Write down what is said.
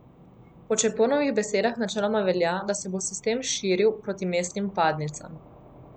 Po Čeponovih besedah načeloma velja, da se bo sistem širil proti mestnih vpadnicam.